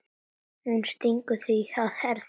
Hún stingur því að Herði